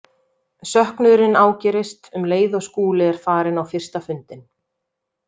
Söknuðurinn ágerist um leið og Skúli er farinn á fyrsta fundinn.